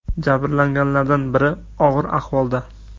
Jabrlanganlardan biri og‘ir ahvolda.